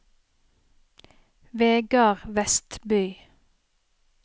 Vegard Westby